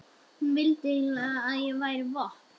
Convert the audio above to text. Hún vildi endilega að ég bæri vopn.